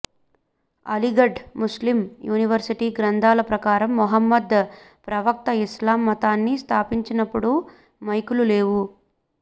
Aligarh Muslim University గ్రంధాల ప్రకారం Muhammad ప్రవక్త ఇస్లాం మతాన్ని స్థాపించినప్పుడు మైకులు లేవు